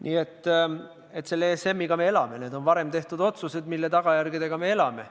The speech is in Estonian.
Nii et selle ESM-iga me elame – need on varem tehtud otsused, mille tagajärgedega me elame.